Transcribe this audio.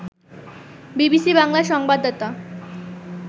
BBC বাংলার সংবাদদাতা